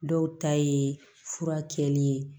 Dɔw ta ye fura kɛlen ye